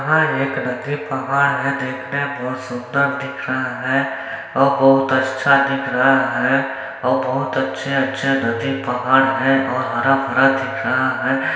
यहाँ एक नदी पहाड़ है देखने में बहुत सुंदर दिख रहा है और बहुत अच्छा दिख रहा है और बहुत अच्छे-अच्छे नदी पहाड़ हैं और हरा- भरा दिख रहा हैं।